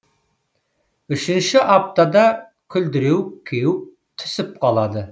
үшіншіші аптада күлдіреуік кеуіп түсіп қалады